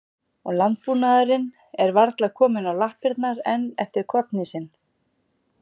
Og landbúnaðurinn er varla kominn á lappirnar enn eftir kollhnísinn.